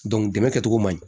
dɛmɛ kɛcogo man ɲi